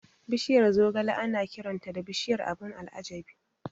Bishiyar zogale ana kiranta da "Bishiyar abun al'ajabi".